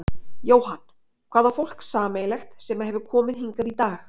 Jóhann: Hvað á fólk sameiginlegt sem að hefur komið hingað í dag?